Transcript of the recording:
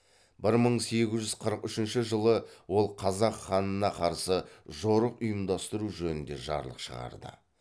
бір мың сегіз жүз қырық үшінші жылы ол қазақ ханына қарсы жорық ұйымдастыру жөнінде жарлық шығарды